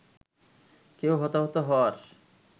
কেউ হতাহত হওয়ার